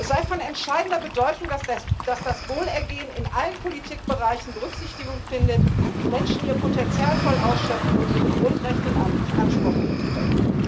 Es sei von entscheidender Bedeutung, dass das Wohlergehen in allen Politikbereichen Berücksichtigung findet, die Menschen ihr Potenzial voll ausschöpfen und ihre Grundrechte in Anspruch nehmen können.